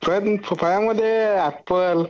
फळामध्ये एपल